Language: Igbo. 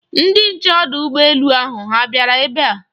Ndị nche ọdụ ụgbọ elu ahụ ha bịara ebe a?